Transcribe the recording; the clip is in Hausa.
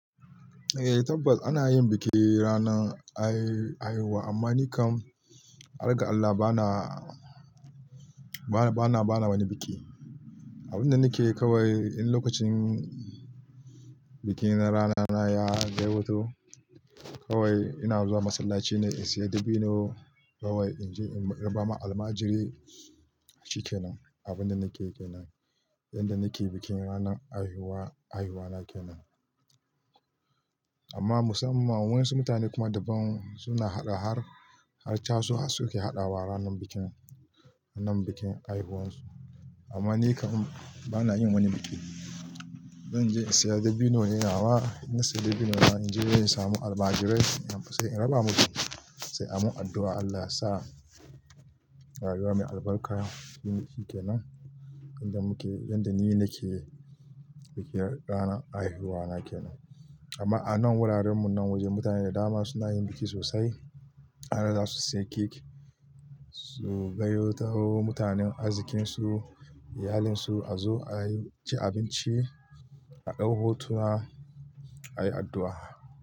Eh tabbas ana yin biki ranar a-haihuwa amma ni kam, har ga Allah bana, bana, bana, bana wani biki. Abin da nike yi kawai in lokacin bikin ranana ya dai wato, kawai ina zuwa masallaci ne in saya dabino kawai in raba ma almajirai. Shi kenan abin da nake yi kenan. Inda nake bikin ranar haihuwa, haihuwana kenan. Amma musamman wayansu mutane kuma daban suna haɗa har har casu suke haɗawa ranar bikin, ranar bikin haihuwarsu. Amma ni kam bana yin wani biki. Zan je in saya dabino ne nawa, inna sai dabino nain je in samu almajirai in raba musu sai an yi addu'a Allah yasa haihuwa mai albarka. Shi kenan inda muke, inda ni nake bikin ranar haihuwana kenan. Amma a nan wurarenmu nan waje mutane da dama suna yin biki sosai. Har da su sayi kek, su gayyato mutanen arzikinsu, iyalinsu a zo a yi, ci abinci, a ɗau hotuna, a yi addu'a.